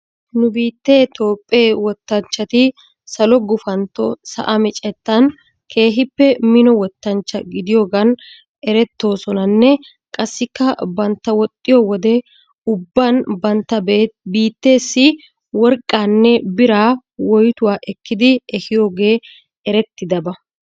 nu biittee toophphee wottanchchati salo gufantto sa'a micettan keehippe mino wottanchcha gidiyoogan erettoosonanne qassika bantta woxxiyowode ubban bantta biitteessi worqqanne biraa woyttuwa ekkidi ehiyoogee erettiyaaba.